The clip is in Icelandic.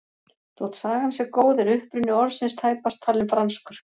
Þótt sagan sé góð er uppruni orðsins tæpast talinn franskur.